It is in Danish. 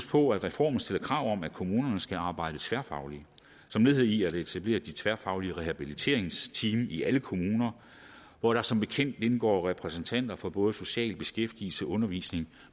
på at reformen stiller krav om at kommunerne skal arbejde tværfagligt som led i at etablere de tværfaglige rehabiliteringsteam i alle kommuner hvor der som bekendt indgår repræsentanter fra både social beskæftigelses undervisnings